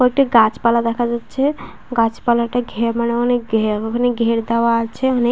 কয়েকটা গাছপালা দেখা যাচ্ছে । গাছপালাটা ঘে মানে অনেক ঘের মানে ঘের দেয়া আছে অনেক ।